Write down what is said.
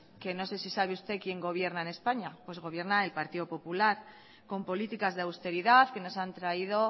que no sé si sabe usted quién gobierna en españa pues gobierna el partido popular con políticas de austeridad que nos han traído